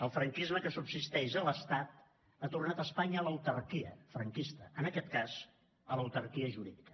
el franquisme que subsisteix a l’estat ha tornat espanya a l’autarquia franquista en aquest cas a l’autarquia jurídica